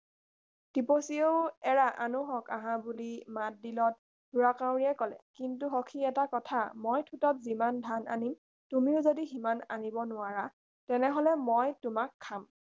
টিপচীয়েও এৰা আনোহঁক আহা বুলি মাত দিলত ঢোঁৰাকাউৰীয়ে কলে কিন্তু সখি এটা কথা মই ঠোঁটত যিমান ধান আনিম তুমিও যাদি সিমান আনিব নোৱাৰা তেনেহলে মই তোমাক খাম